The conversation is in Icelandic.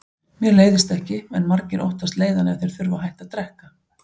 Mér leiðist ekki, en margir óttast leiðann ef þeir þurfa að hætta að drekka.